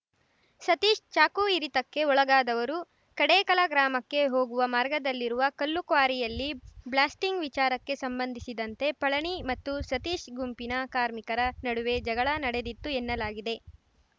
ಸತೀಶ್‌ ಚಾಕು ಇರಿತಕ್ಕೆ ಒಳಗಾದವರು ಕಡೇಕಲ ಗ್ರಾಮಕ್ಕೆ ಹೋಗುವ ಮಾರ್ಗದಲ್ಲಿರುವ ಕಲ್ಲುಕ್ವಾರಿಯಲ್ಲಿ ಬ್ಲಾಸ್ಟಿಂಗ್‌ ವಿಚಾರಕ್ಕೆ ಸಂಬಂಧಿಸಿದಂತೆ ಪಳನಿ ಮತ್ತು ಸತೀಶ್‌ ಗುಂಪಿನ ಕಾರ್ಮಿಕರ ನಡುವೆ ಜಗಳ ನಡೆದಿತ್ತು ಎನ್ನಲಾಗಿದೆ